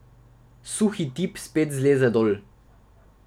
Suhi tip spet zleze dol.